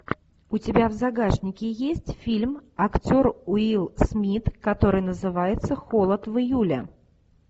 у тебя в загашнике есть фильм актер уилл смит который называется холод в июле